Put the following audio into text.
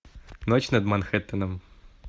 ночь над манхеттеном